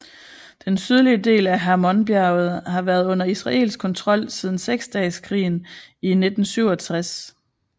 Den sydlige del af Hermonbjerget har været under israelsk kontrol siden Seksdageskrigen i 1967